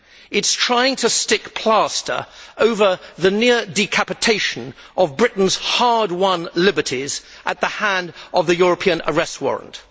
It is trying to stick plaster over the near decapitation of Britain's hard won liberties at the hand of the European Arrest Warrant.